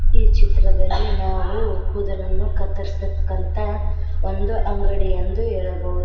ಈ ಚಿತ್ರದಲ್ಲಿ ನಾವು ಕೂದಲನ್ನು ಕತ್ತರಿಸ್ ಕಂತ ಒಂದು ಅಂಗಡಿಯಂದು ಹೇಳಬಹುದು.